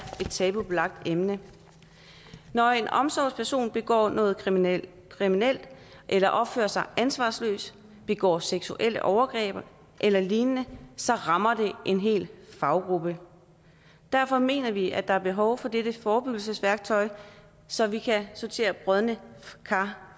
et tabubelagt emne når en omsorgsperson begår noget kriminelt kriminelt eller opfører sig ansvarsløst begår seksuelle overgreb eller lignende så rammer det en hel faggruppe og derfor mener vi at der er behov for dette forebyggelsesværktøj så vi kan sortere brodne kar